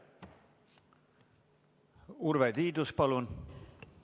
Urve Tiidus, palun!